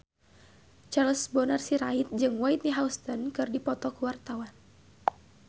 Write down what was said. Charles Bonar Sirait jeung Whitney Houston keur dipoto ku wartawan